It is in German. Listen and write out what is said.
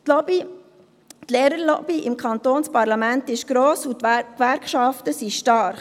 Die Lehrerlobby im Kantonsparlament ist gross, und die Gewerkschaften sind stark.